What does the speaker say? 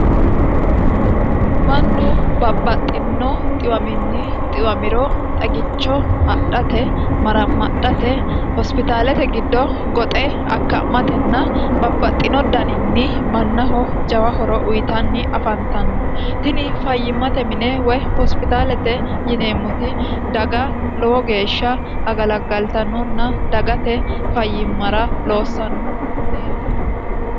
mannu babbaxxino xiwaminni xiwamiro xagicho adhate maramadhate hospitaalete giddo goxe akka'matenna babbaxxino daninni mannaho jawa horo uyitanni afantanno tini fayyimmate mine woy hospitaalete yineemmoti daga lowo geeshsha agalaggaltanonna dagate fayyimmara loossanno mineeti